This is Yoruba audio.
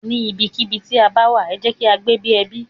Ní ibi kí ibi tí a bá wà, ẹ jẹ́ kí á gbé bí ẹbí.